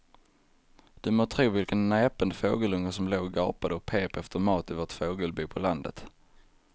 Du må tro vilken näpen fågelunge som låg och gapade och pep efter mat i vårt fågelbo på landet.